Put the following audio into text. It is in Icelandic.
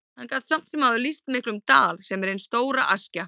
Hann gat samt sem áður lýst miklum dal, sem er hin stóra Askja.